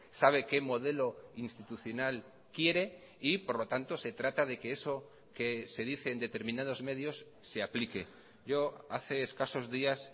sabe qué modelo institucional quiere y por lo tanto se trata de que eso que se dice en determinados medios se aplique yo hace escasos días